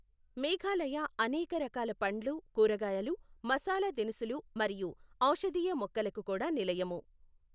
మేఘాలయ అనేక రకాల పండ్లు, కూరగాయలు, మసాలా దినుసులు, మరియు ఔషధీయ మొక్కలకు కూడా నిలయము.